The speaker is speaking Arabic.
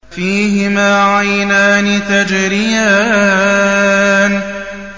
فِيهِمَا عَيْنَانِ تَجْرِيَانِ